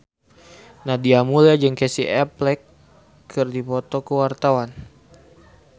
Nadia Mulya jeung Casey Affleck keur dipoto ku wartawan